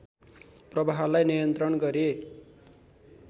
प्रवाहलाई नियन्त्रण गरी